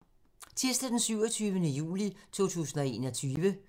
Tirsdag d. 27. juli 2021